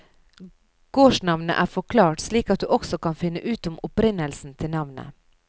Gårdsnavnene er forklart, slik at du også kan finne ut om opprinnelsen til navnet.